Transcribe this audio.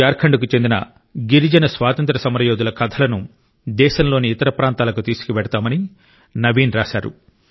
జార్ఖండ్కు చెందిన గిరిజన స్వాతంత్ర్య సమరయోధుల కథలను దేశంలోని ఇతర ప్రాంతాలకు తీసుకెళ్తామని నవీన్ రాశారు